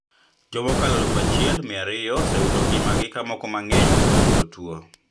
Jomokalo aluf achiel mia ariyo osewito ngimagi ka moko mang`eny bende oyudo tuo